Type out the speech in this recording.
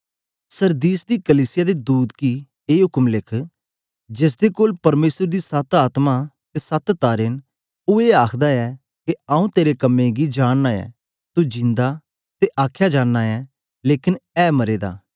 Sardis दी कलीसिया दे दूत गी ए उक्म लिख जेसदे कोल परमेसर दी सत आत्मा ते सत तारे न ओ ए आखदा ऐ के आऊँ तेरे कम्में गी जानना ऐ तू जिंदा ते आखया जाना ऐ लेकन ऐ मरे दा